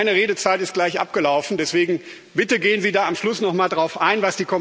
Meine Redezeit ist gleich abgelaufen, deswegen Bitte gehen Sie da am Schluss noch mal darauf ein!